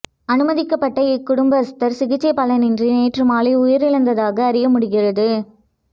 அனுமதிக்கப்பட்ட இக்குடும்பஸ்த்தர் சிகிச்சை பலனின்றி நேற்று மாலை உயிரிழந்ததாக அறியமுடிகிறது